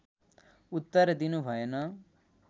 उत्तर दिनु भएन